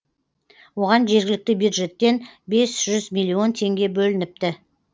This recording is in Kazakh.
оған жергілікті бюджеттен бес жүз миллион теңге бөлініпті